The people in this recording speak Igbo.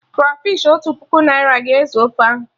Krafish Otu puku naira ga-ezu ofe ahụ